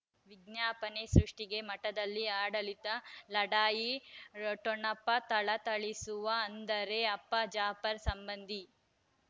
ವಿಜ್ಞಾಪನೆ ಸೃಷ್ಟಿಗೆ ಮಠದಲ್ಲಿ ಆಡಳಿತ ಲಢಾಯಿ ಠೊಣಪ ಥಳಥಳಿಸುವ ಅಂದರೆ ಅಪ್ಪ ಜಾಫರ್ ಸಂಬಂಧಿ